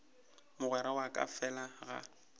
mogwera wa ka fela ga